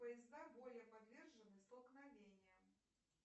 поезда более подвержены столкновениям